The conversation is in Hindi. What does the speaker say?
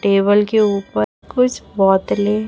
टेबल के ऊपर कुछ बोतले--